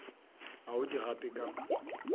ga o di gape ka